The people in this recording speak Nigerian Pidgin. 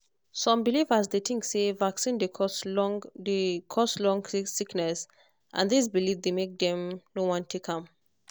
some believers dey think say vaccine dey cause long dey cause long sickness and this belief dey make dem no wan take am